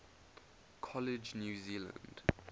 college new zealand